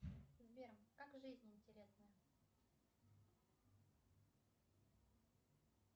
сбер как жизнь интересная